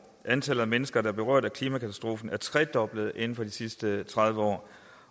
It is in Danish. antallet af mennesker der er berørt af klimakatastrofer er tredoblet inden for de sidste tredive år